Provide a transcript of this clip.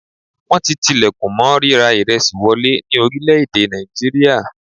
Wọ́n ti tilẹ̀kùn mọ́ ríra ìresì wọlé ní orílẹ̀-èdè nàìjíríà.